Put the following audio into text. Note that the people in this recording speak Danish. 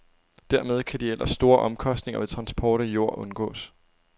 Dermed kan de ellers store omkostninger ved transport af jord undgås.